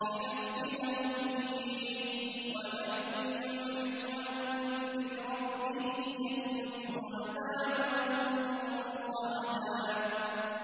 لِّنَفْتِنَهُمْ فِيهِ ۚ وَمَن يُعْرِضْ عَن ذِكْرِ رَبِّهِ يَسْلُكْهُ عَذَابًا صَعَدًا